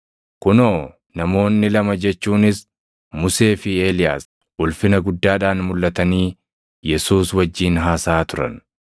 Kunoo namoonni lama jechuunis Musee fi Eeliyaas, ulfina guddaadhaan mulʼatanii Yesuus wajjin haasaʼaa turan.